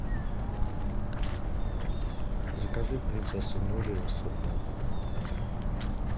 закажи принцесса нури рассыпной